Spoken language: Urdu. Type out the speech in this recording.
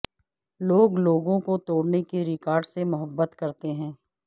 لوگ لوگوں کو توڑنے کے ریکارڈ سے محبت کرتے ہیں